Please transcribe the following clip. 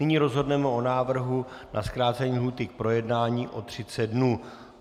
Nyní rozhodneme o návrhu na zkrácení lhůty k projednání o 30 dnů.